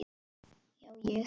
Já, ég.